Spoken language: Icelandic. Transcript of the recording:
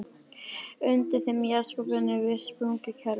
Undir þeim í jarðskorpunni er virkt sprungukerfi.